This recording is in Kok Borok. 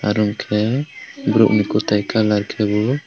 aro unkke borok ni kwtai colour ke bo.